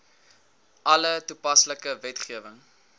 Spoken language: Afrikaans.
alle toepaslike wetgewing